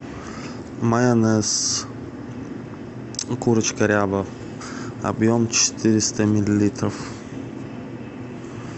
майонез курочка ряба объем четыреста миллилитров